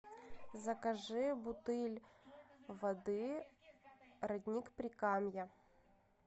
закажи бутыль воды родник прикамья